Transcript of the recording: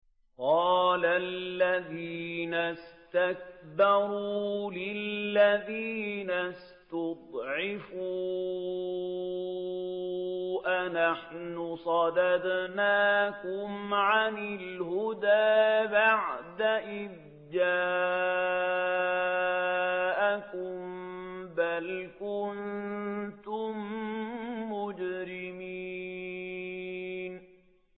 قَالَ الَّذِينَ اسْتَكْبَرُوا لِلَّذِينَ اسْتُضْعِفُوا أَنَحْنُ صَدَدْنَاكُمْ عَنِ الْهُدَىٰ بَعْدَ إِذْ جَاءَكُم ۖ بَلْ كُنتُم مُّجْرِمِينَ